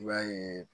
I b'a yeee